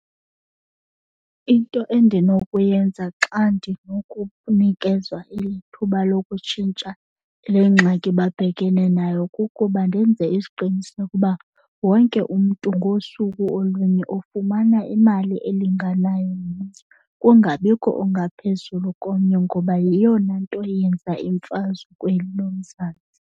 Into endinokuyenza xa ndinokunikezwa eli thuba lokutshintsha le ngxaki babhekene nayo kukuba ndenze isiqiniseko uba wonke umntu ngosuku olunye ufumana imali elinganayo kungabikho ongaphezulu komnye ngoba yiyona nto yenza imfazwe kweli loMzantsi.